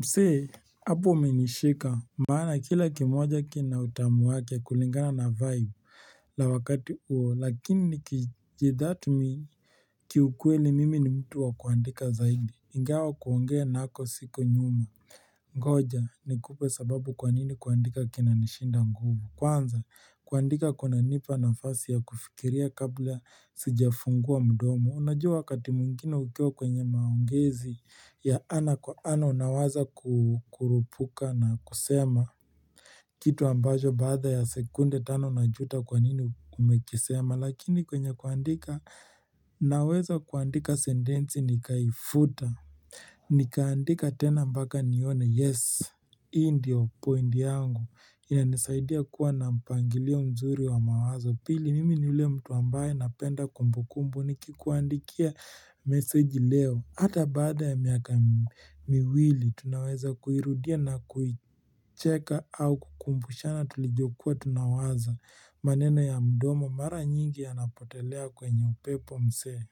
Mse, hapo umenishika Maana kila kimoja kina utamu wake kulingana na vibe la wakati uo, lakini nikijidhat mi Kiukweli mimi ni mtu wa kuandika zaidi Ingawa kuongea nako siko nyuma Ngoja ni kupe sababu kwa nini kuandika kina nishinda nguvu Kwanza kuandika kuna nipa nafasi ya kufikiria kabla sija fungua mdomi Unajua wakati mwingine ukiwa kwenye maongezi ya ana kwa ana unawaza kukurupuka na kusema Kitu ambajo baada ya sekunde tano na unajuta kwa nini ume kisema Lakini kwenye kuandika naweza kuandika sendensi nikaifuta Nikaandika tena mpaka nione yes Hii ndio point yangu ina nisaidia kuwa na mpangilio mzuri wa mawazo pili Mimi ni ule mtu ambaye napenda kumbukumbu ni kikuandikia meseji leo Hata baada ya miaka miwili tunaweza kuirudia na kuicheka au kukumbushana tulijokua tunawaza maneno ya mdomo mara nyingi ya napotelea kwenye upepo msee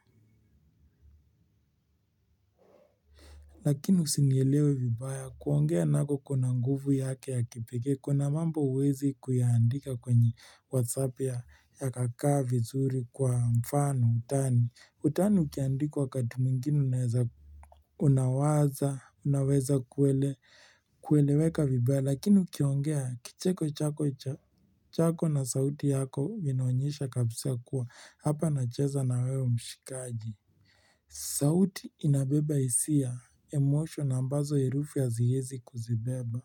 Lakini usinielewe vibaya kuongea nako kuna nguvu yake ya kipekee Kuna mambo huwezi kuyaandika kwenye whatsapp ya kakaa vizuri kwa mfano utani utani ukiandika wakati mwingine unaweza kuwa Unaweza, unaweza kueleweka vibaya lakini ukiongea kicheko chako cha chako na sauti yako vinaonyesha kabisa kuwa hapa nacheza na wewe mshikaji sauti inabeba hisia, emosho na ambazo herufu ya haziezi kuzibeba.